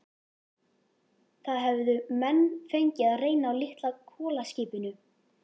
Það höfðu menn fengið að reyna á litla kolaskipinu